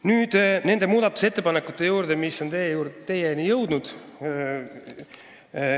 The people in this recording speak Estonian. Nüüd nende muudatusettepanekute juurde, mis on teieni jõudnud.